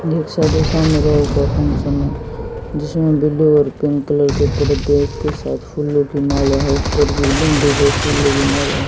एक फंक्शन है जिसमें ब्ल्यू और पिंक कलर के पर्दे उसके साथ फूलों की माला है ऊपर बिल्डिंग फूलों की माला है।